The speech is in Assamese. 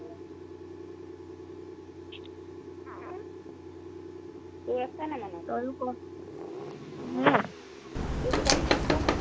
তোৰ আছে নাই মনত তয়ো ক তোৰ কিবা মনত আছে নাই